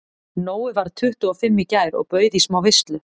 Nói varð tuttugu og fimm í gær og bauð í smá veislu.